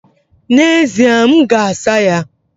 N'ezie, m ga-asa ya.